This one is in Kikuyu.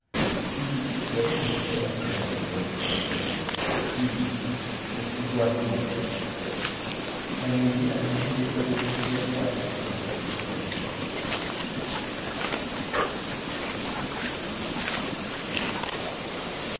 Hihi ciana ciaku kana ciana cia ciana ciaku hihi nĩ cigwatĩirio na nĩ njĩra irĩkũ cia kwandĩkithia ciathondekirũo.